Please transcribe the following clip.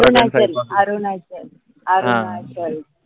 Arunachal